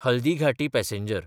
Haldighati passenger